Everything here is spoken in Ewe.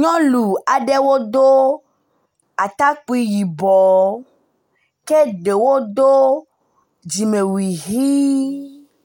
Nyɔnu aɖewo do atakpui yibɔ ke ɖewo do dzimewui ʋi.